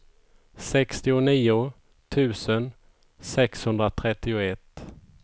sextionio tusen sexhundratrettioett